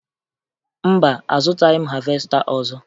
Mba, azụtaghị m havesta ọzọ